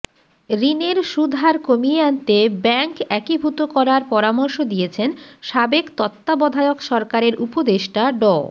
ঋণের সুদহার কমিয়ে আনতে ব্যাংক একীভূত করার পরামর্শ দিয়েছেন সাবেক তত্ত্বাবধায়ক সরকারের উপদেষ্টা ড